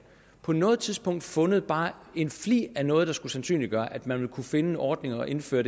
på noget tidspunkt fundet bare en flig af noget der skulle sandsynliggøre at man vil kunne finde en ordning at indføre